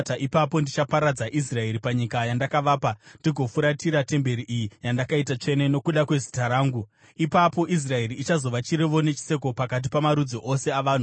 ipapo ndichaparadza Israeri panyika yandakavapa ndigofuratira temberi iyi yandaita tsvene nokuda kweZita rangu. Ipapo Israeri ichazova chirevo nechiseko pakati pamarudzi ose avanhu.